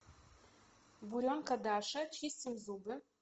буренка даша чистим зубы